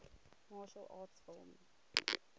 martial arts film